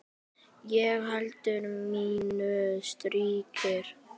Ég held mínu striki.